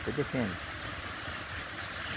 Você defende.